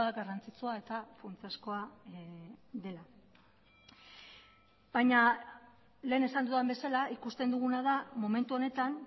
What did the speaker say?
garrantzitsua eta funtsezkoa dela baina lehen esan dudan bezala ikusten duguna da momentu honetan